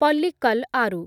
ପଲ୍ଲିକ୍କଲ୍ ଆରୁ